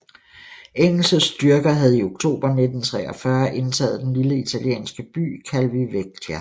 Engelske styrker havde i oktober 1943 indtaget den lille italienske by Calvi Vecchia